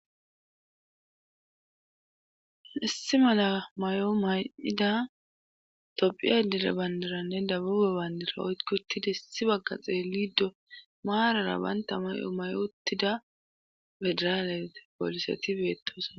issi mala may7o may7ida tophiya dire bandaranne dabube baandira oykkotida issi bagga xeelido maarara banta may7o may7o uttida federalete poliseti beettos